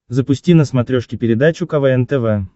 запусти на смотрешке передачу квн тв